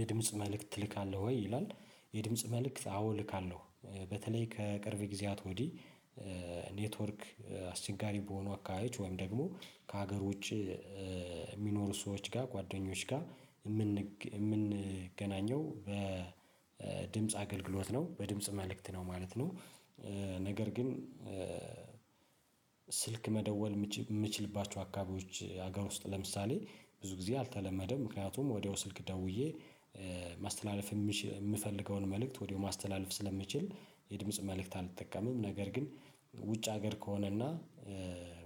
የድምጽ መልእክት ትልካለህ ወይ? ይላል የድምጽ መልእክት አዎ እልካለሁ። በተለይ ከቅርብ ጊዜያት ወዲህ ኔትወርክ አስቸጋሪ በሆኑ አካሄድ ወይም ደግሞ ከሀገር ውጪ የሚኖሩ ሰዎች ጋር ጓደኞች ጋር የምንገናኘው በድምጽ አገልግሎት ነው። በድምጽ መልእክት ነው ማለት ነው። ነገር ግን ስልክ መደወል የምችልባቸው አካባቢዎች ሀገር ውስጥ ለምሳሌ ብዙ ጊዜ አልተለመደም። ምክንያቱም ወዲያው ስልክ ደውዬ ማስተላለፍ የምፈልገውን መልእክት ወዲያው ማስተላለፍ ስለምችል የድምጽ መልእክት አልተጠቀመም። ነገር ግን ውጭ ሀገር ከሆነና